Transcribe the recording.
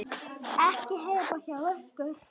Ekki heima hjá ykkur.